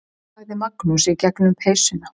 sagði Magnús í gegnum peysuna.